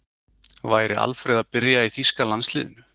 Væri Alfreð að byrja í þýska landsliðinu?